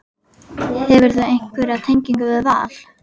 Hefurðu einhverja tengingu við Val?